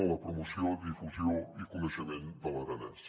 en la promoció difusió i coneixement de l’aranès